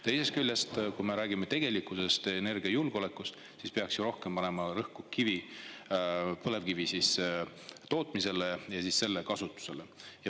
Teisest küljest, kui me räägime energiajulgeolekust, siis peaks ju rohkem panema rõhku põlevkivi tootmisele ja kasutamisele.